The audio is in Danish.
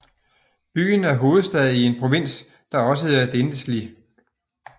Byen er hovedstad i en provins der også hedder Denizli